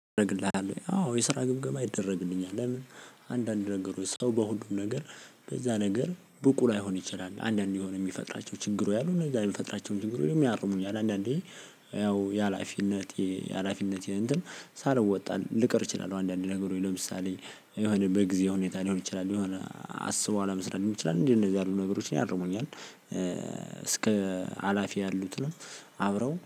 አደርግልሃለሁ አዎ የስራ ግምገማ ይደረግልኛል። ለምን? አንዳንድ ነገሮች ሰው በሁሉም ነገር በዛ ነገር ብቁ ላይሆን ይችላል አንዳንዴ የሆነ የሚፈጥራቸው ችግሮች እሉ እነዛ የሚፈጥራቸውን ችግሮች ያርሙኛል። አንዳንዴ ያው የሀላፊነት ሀላፊነት እንትን ሳልወጣ ልቅር እችላለሁ። አንዳንድ ነገሮችን ለምሳሌ የሆነ በጊዛዊ ሁኔታ ሊሆን ይችላል። የሆነ አስበው አለመስራት ሊሆን ይችላል። እንዲ እንደዚህ ያሉ ነገሮችን ያርሙኛል እስከ ሀላፊ ያሉትንም አብረው